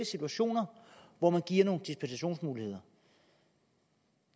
situationer hvor man giver nogle dispensationsmuligheder